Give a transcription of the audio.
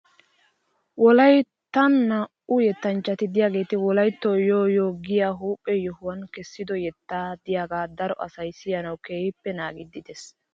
Wolayttan naa'u yettanchchati de'iyaageeti wolaytto yoo yoo giyaa huuphe yohuwan kessido yetta de'iyaagaa daro asay siyanawu keehippe naagiiddi de'es .